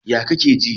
Yaya kake ji?